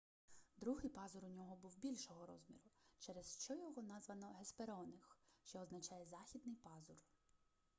другий пазур у нього був більшого розміру через що його названо геспероних що означає західний пазур